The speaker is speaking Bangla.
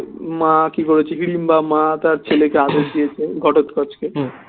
মা কি করেছে হিড়িম্বা মা তার ছেলেকে আদেশ দিয়েছে ঘটোৎকচকে